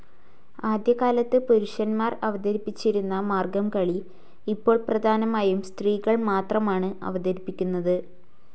ആദ്യകാലത്ത് പുരുഷൻമാർ അവതരിപ്പിച്ചിരുന്ന മാർഗംകളി ഇപ്പോൾ പ്രധാനമായും സ്ത്രീകൾ മാത്രമാണ് അവതരിപ്പിക്കുന്നത്.